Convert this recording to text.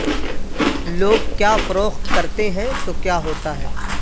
لوگ کیا فروخت کرتے ہیں تو کیا ہوتا ہے